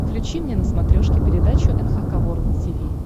включи мне на смотрешке передачу эн эйч кей волд ти ви